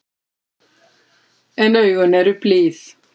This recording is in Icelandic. En augun eru blíð.